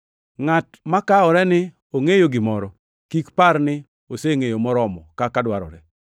Ngʼat makawore ni ongʼeyo gimoro kik par ni osengʼeyo moromo kaka dwarore.